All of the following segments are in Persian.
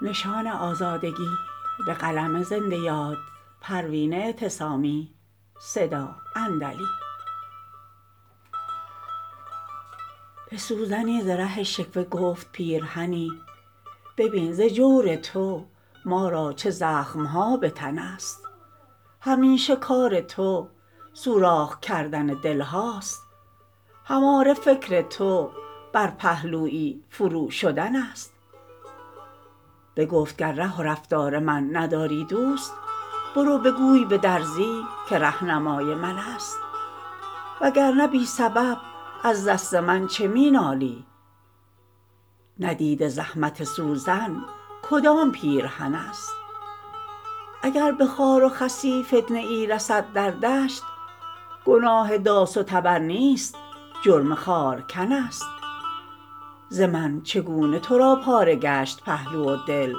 به سوزنی ز ره شکوه گفت پیرهنی ببین ز جور تو ما را چه زخمها بتن است همیشه کار تو سوراخ کردن دلهاست هماره فکر تو بر پهلویی فرو شدن است بگفت گر ره و رفتار من نداری دوست برو بگوی بدرزی که رهنمای من است وگر نه بی سبب از دست من چه مینالی ندیده زحمت سوزن کدام پیرهن است اگر به خار و خسی فتنه ای رسد در دشت گناه داس و تبر نیست جرم خارکن است ز من چگونه ترا پاره گشت پهلو و دل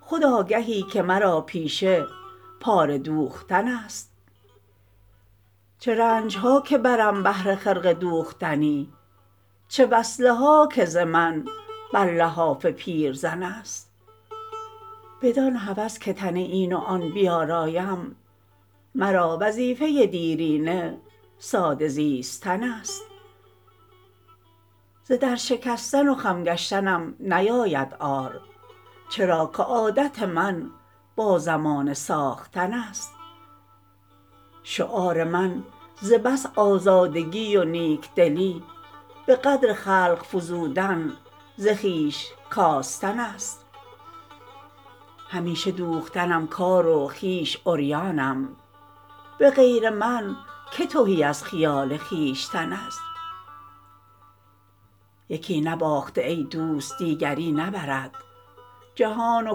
خود آگهی که مرا پیشه پاره دوختن است چه رنجها که برم بهر خرقه دوختنی چه وصله ها که ز من بر لحاف پیرزن است بدان هوس که تن این و آن بیارایم مرا وظیفه دیرینه ساده زیستن است ز در شکستن و خم گشتنم نیاید عار چرا که عادت من با زمانه ساختن است شعار من ز بس آزادگی و نیکدلی بقدر خلق فزودن ز خویش کاستن است همیشه دوختنم کار و خویش عریانم بغیر من که تهی از خیال خویشتن است یکی نباخته ای دوست دیگری نبرد جهان و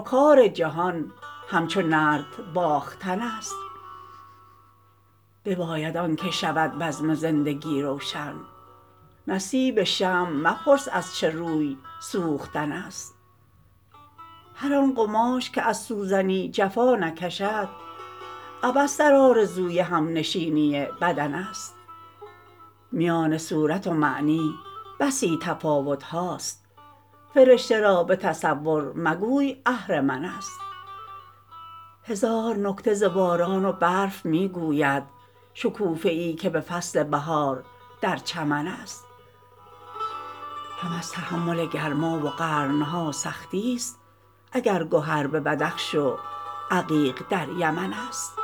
کار جهان همچو نرد باختن است بباید آنکه شود بزم زندگی روشن نصیب شمع مپرس از چه روی سوختن است هر آن قماش که از سوزنی جفا نکشد عبث در آرزوی همنشینی بدن است میان صورت و معنی بسی تفاوتهاست فرشته را بتصور مگوی اهرمن است هزار نکته ز باران و برف میگوید شکوفه ای که به فصل بهار در چمن است هم از تحمل گرما و قرنها سختی است اگر گهر به بدخش و عقیق در یمن است